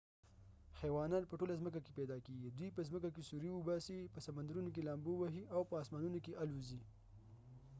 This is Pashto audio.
حیوانات په ټوله ځمکه کې پیدا کېږی ، دوي په ځمکه کې سوری اوباسی ،په سمندرونو کې لامبو وهی، او په اسمانونو کې الوزی